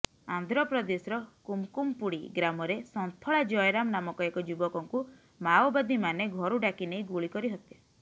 ଆନ୍ଧ୍ରପ୍ରଦେଶର କୁମକୁମପୁଡ଼ି ଗ୍ରାମରେ ସନ୍ଥଳା ଜୟରାମ ନାମକ ଏକ ଯୁବକଙ୍କୁ ମାଓବାଦୀମାନେ ଘରୁ ଡ଼ାକିନେଇ ଗୁଳି କରି ହତ୍ୟା